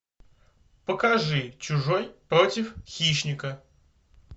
покажи чужой против хищника